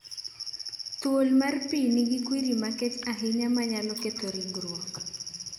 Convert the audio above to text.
Thuol mar pi nigi kwiri makech ahinya manyalo ketho rigruok